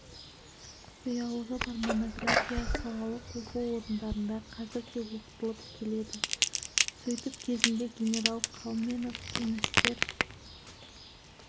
құпиялығы бар монография салалық оқу орындарында қазір де оқытылып келеді сөйтіп кезінде генерал қалменов кеңестер